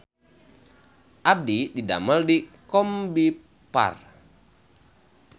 Abdi didamel di Combiphar